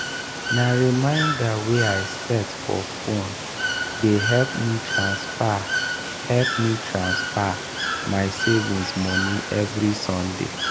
na reminder wey i set for phone dey help me transfer help me transfer my savings moni evri sunday.